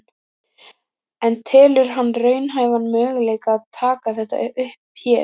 En telur hann raunhæfan möguleika að taka þetta upp hér?